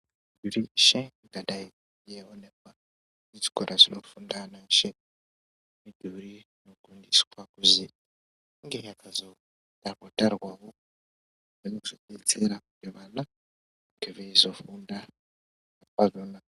Reshe ungadai eionekwa kuzvikora zvinofunda ana eshe mudhuri inogondiswa kuzi inge yakazogarwa garwa wo inozodetsera kuti vana vange veizofunda pamwena.